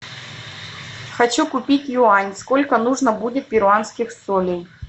хочу купить юань сколько нужно будет перуанских солей